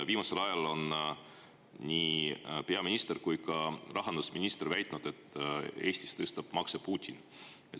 Viimasel ajal on nii peaminister kui ka rahandusminister väitnud, et Eestis tõstab makse Putin.